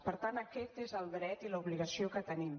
per tant aquest és el dret i l’obligació que tenim